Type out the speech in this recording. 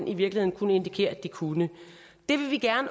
i virkeligheden kunne indikere at de kunne det vil vi